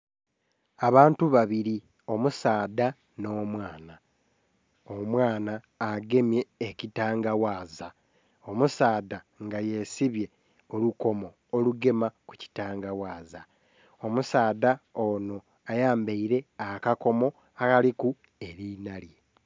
Abantu babili omusaadha nh'omwaana, omwaana agemye ekitanga ghaza omusaadha nga yesibye olukomo olugema ku ekitanga ghaza, omusaadha onho ayambele akakomo akiliku eli nhalye.